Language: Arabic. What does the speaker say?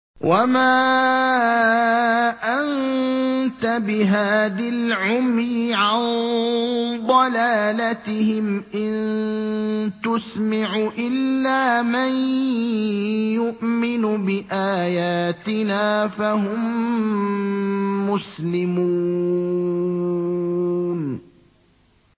وَمَا أَنتَ بِهَادِي الْعُمْيِ عَن ضَلَالَتِهِمْ ۖ إِن تُسْمِعُ إِلَّا مَن يُؤْمِنُ بِآيَاتِنَا فَهُم مُّسْلِمُونَ